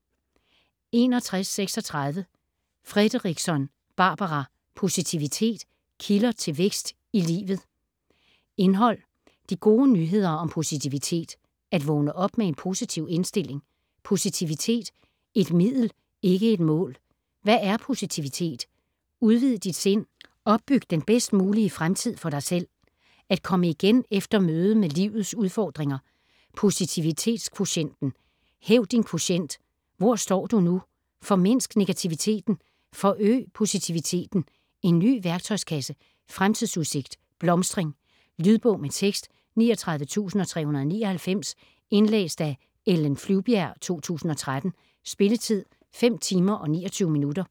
61.36 Fredrickson, Barbara: Positivitet: kilder til vækst i livet Indhold: De gode nyheder om positivitet (At vågne op med en positiv indstilling, Positivitet: et middel ikke et mål, Hvad er positivitet?, Udvid dit sind, Opbyg den bedst mulige fremtid for dig selv, At komme igen efter mødet med livets udfordringer, Posivititetskvotienten), Hæv din kvotient (Hvor står du nu, Formindsk negativiteten, Forøg positiviteten, En ny værktøjskasse, Fremtidsudsigt, blomstring). Lydbog med tekst 39399 Indlæst af Ellen Flyvbjerg, 2013. Spilletid: 5 timer, 29 minutter.